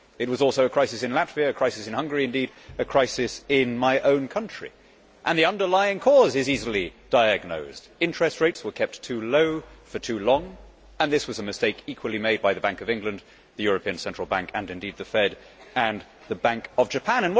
It was also a crisis in Latvia, a crisis in Hungary and indeed a crisis in my own country, and the underlying cause is easily diagnosed interest rates were kept too low for too long and this mistake was made equally by the Bank of England, the European Central Bank and indeed the FED and the Bank of Japan.